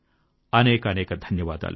అనేకానేక ధన్యవాదాలు